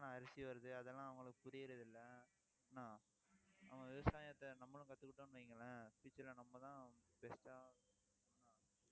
அரிசி வருது. அதெல்லாம் அவங்களுக்கு புரியறதில்லை என்ன அவங்க விவசாயத்தை, நம்மளும் கத்துக்கிட்டோம்ன்னு வைங்களேன் future ல நம்மதான் best அ